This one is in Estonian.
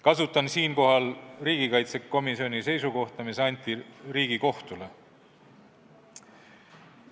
Kasutan siinkohal riigikaitsekomisjoni seisukohta, mis anti Riigikohtule.